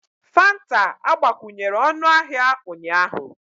Fanta agbakwunyere ọnụahịa ụnyaahụ